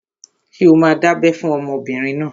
Ṣé o máa dábẹ́ fún ọmọbìnrin náà?